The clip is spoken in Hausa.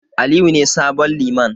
Aliyu ne sabon Liman.